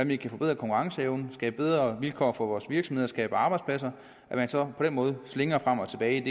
vi kan forbedre konkurrenceevnen skabe bedre vilkår for vores virksomheder skabe arbejdspladser at man så på den måde slingrer frem og tilbage